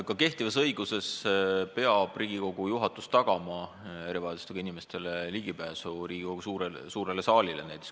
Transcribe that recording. Ka kehtiva õiguse järgi peab Riigikogu juhatus tagama erivajadustega inimestele ligipääsu näiteks Riigikogu suurele saalile.